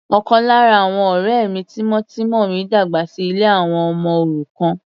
Ọ̀kan lára àwọn ọ̀rẹ́ mi tímọ́tímọ́ mi dàgbà sí ilé àwọn ọmọ òrukàn.